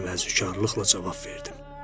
Deyə təvazökarlıqla cavab verdim.